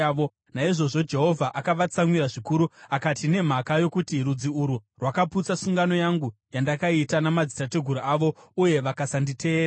Naizvozvo Jehovha akavatsamwira zvikuru akati, “Nemhaka yokuti rudzi urwu rwakaputsa sungano yangu yandakaita namadzitateguru avo uye vakasanditeerera,